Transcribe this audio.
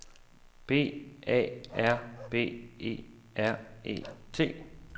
B A R B E R E T